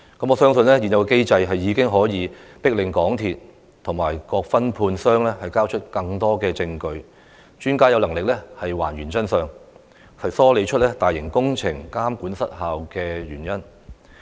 我相信現有機制已可迫令港鐵公司及各分判商交出更多證據，讓專家有能力還原真相，梳理出大型工程監管失效的原因。